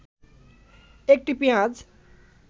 ১টি পেঁয়াজ